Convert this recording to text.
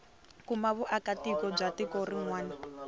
kuma vuakatiko bya tiko rin